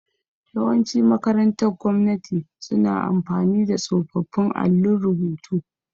Yawanci makarantar gwamnati suna amfani da tsofaffin allun rubutu.